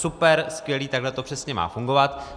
Super, skvělé, takhle to přesně má fungovat.